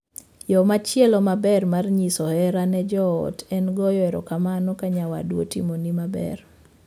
Yoo machielo maber mar nyiso hera ne joot en goyo erokamano ka nyawadu otimoni maber.